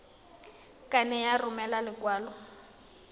ka nne ya romela lekwalo